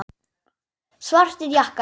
Svartir jakkar.